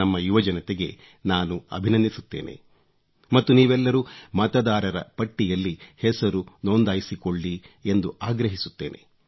ನಮ್ಮ ಯುವಜನತೆಗೆ ನಾನು ಅಭಿನಂದಿಸುತ್ತೇನೆ ಮತ್ತು ನೀವೆಲ್ಲರೂ ಮತದಾರ ಪಟ್ಟಿಯಲ್ಲಿ ಹೆಸರು ನೊಂದಾಯಿಸಿಕೊಳ್ಳಿ ಎಂದು ಆಗ್ರಹಿಸುತ್ತೇನೆ